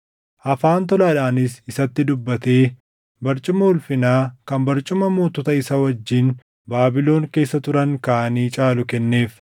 Afaan tolaadhaanis isatti dubbatee barcuma ulfinaa kan barcuma mootota isa wajjin Baabilon keessa turan kaanii caalu kenneef.